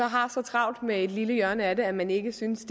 har så travlt med et lille hjørne af det at man ikke synes